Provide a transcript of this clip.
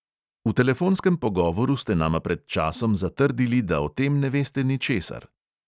V telefonskem pogovoru ste nama pred časom zatrdili, da o tem ne veste ničesar.